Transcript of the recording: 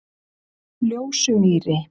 Ljósumýri